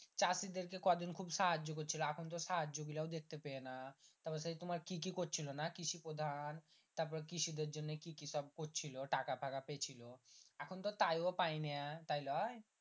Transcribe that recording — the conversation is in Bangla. চাষী দেরকে খুব সাহায্য করছিলো এখন তো সাহায্য গিলাও দেখতে পেয়ে না তার পর তোমার কি কি করছিলো না কৃষি প্রধান তারপর কৃষি দেড় জন্য কি কি সব করছিলো টাকা থাকা পেছিলো এখন তো তাই ও পাই না তাই লয়